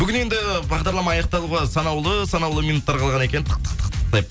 бүгін енді бағдарлама аяқталуға санаулы санаулы минуттар қалған екен тық тық тық деп